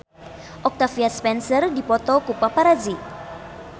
Octavia Spencer dipoto ku paparazi